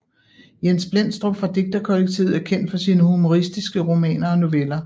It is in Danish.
Jens Blendstrup fra digterkollektivet er kendt for sine humoristiske romaner og noveller